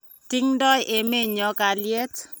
tingdoi emenyo kalyet